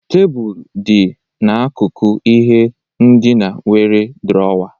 Tebụl dị n'akụkụ ihe ndina nwere drọwa.